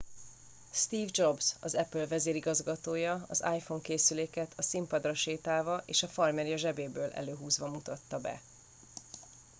steve jobs az apple vezérigazgatója az iphone készüléket a színpadra sétálva és a farmerja zsebéből előhúzva mutatta be